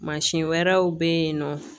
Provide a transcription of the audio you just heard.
Mansin wɛrɛw bɛ yen nɔ